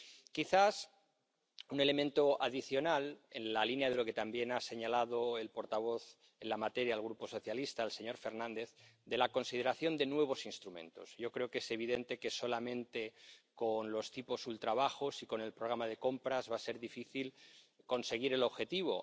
Quizás un elemento adicional, en la línea de lo que también ha señalado el portavoz en la materia del Grupo Socialista, el señor Fernández, es la consideración de nuevos instrumentos. Yo creo que es evidente que, solamente con los tipos ultrabajos y con el programa de compras, va a ser difícil conseguir el objetivo.